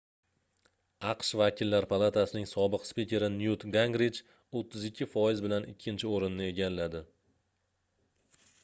aqsh vakillar palatasining sobiq spikeri nyut gingrich 32 foiz bilan ikkinchi oʻrinni egalladi